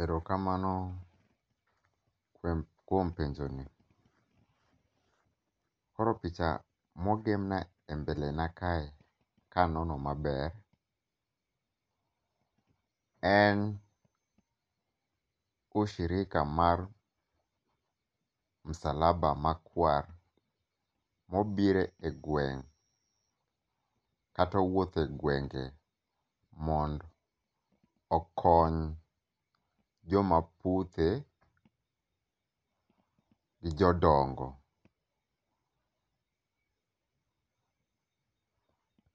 Ero kamano kuom penjo ni. Koro picha mogema e mbele na kae kanono maber en ushirika mar Msalaba Makwar mobire e gweng'. Katowuothe gwenge mond okony joma puthe gi jodongo.